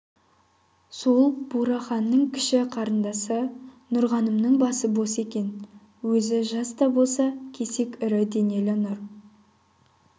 сол бураханның кіші қарындасы нұрғанымның басы бос екен өзі жас та болса кесек ірі денелі нұр